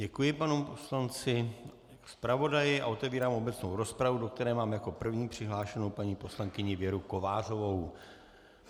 Děkuji panu poslanci, zpravodaji a otvírám obecnou rozpravu, do které mám jako první přihlášenu paní poslankyni Věru Kovářovou.